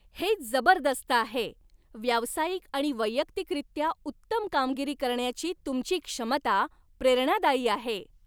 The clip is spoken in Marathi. हे जबरदस्त आहे. व्यावसायिक आणि वैयक्तिकरित्या उत्तम कामगिरी करण्याची तुमची क्षमता प्रेरणादायी आहे.